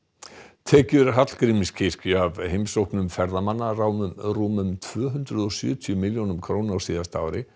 tekjur Hallgrímskirkju af heimsóknum ferðamanna námu rúmum tvö hundruð og sjötíu milljónum króna á síðasta ári